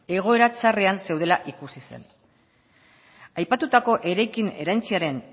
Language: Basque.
egoera txarrean zeudela ikusi zen aipatutako eraikin erantsiaren